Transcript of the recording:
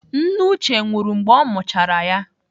Nne Uche nwụrụ mgbe ọ mụchara ya.